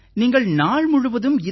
நீங்கள் நாள் முழுவதும் இத்தனை